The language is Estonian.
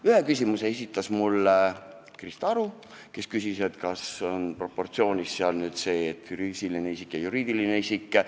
Ühe küsimuse esitas Krista Aru, kes küsis, kas füüsilise isiku ja juriidilise isiku karistused on proportsioonis.